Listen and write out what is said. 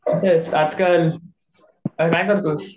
कुठे आहेस आजकाल काय करतोयस?